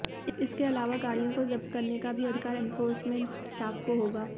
इसके अलावा गाड़ियों को जब्त करने का भी अधिकार एनफोर्समेंट स्टाफ को होगा